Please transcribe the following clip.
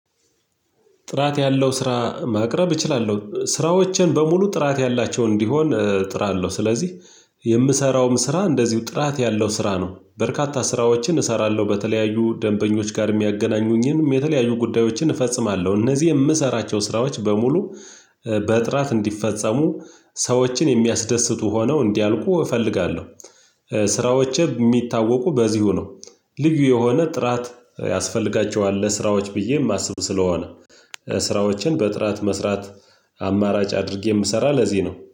ጥራት ያለው ስራ ማቅረብ እችላለሁ። ስራዎቼን በሙሉ ጥራት ያላቸው እንዲሆን እጥራለሁ። ስለዚህ የምሰራውም ስራ እንደዚሁ ጥራት ያለው ስራ ነው። በርካታ ስራዎችን እሰራለሁ በተለያዩ ደንበኞች ጋር የሚያገናኙኝን የተለያዩ ጉዳዮችን እፈጽማለሁ። እነዚህ የምሰራቸው ስራዎች በሙሉ በጥራት እንዲፈጸሙ ሰዎችን የሚያስደስቱ ሆነው እንዲያልቁ እፈልጋለሁ። ስራዎቼ የሚታወቁ በዚሁ ነው። ልዩ የሆነ ጥራት ያስፈልጋቸዋል ለስራዎች ብዬ የማስብ ስለሆነ ስራዎቼን በጥራት መስራት አማራጭ አድርጌ የምሰራው ለዚህ ነው።